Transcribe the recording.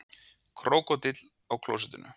Krókódíll á klósettinu